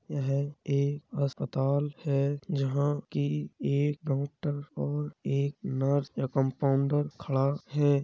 यह एक अस्पताल है। जहां की एक डॉक्टर और एक नर्स या कम्पाउण्डर खड़ा है।